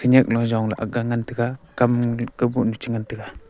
khanyan lo jongla agga ngan taga kam kau bohnu chi ngantaga.